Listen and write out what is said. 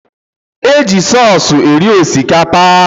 E ji sọọsụ eri osikapa.